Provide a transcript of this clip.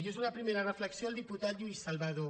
i és una primera reflexió al diputat lluís salvadó